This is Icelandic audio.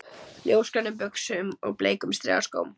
Ljósgrænum buxum og bleikum strigaskóm